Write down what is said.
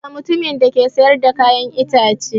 Daga mutumin da ke siyar da kayan ita ce